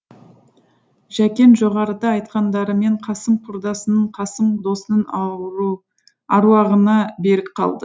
жәкең жоғарыда айтқандарымен қасым құрдасының қасым досының аруағына берік қалды